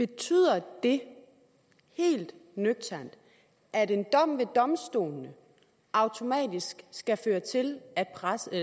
betyder det helt nøgternt at en dom ved domstolene automatisk skal føre til at radio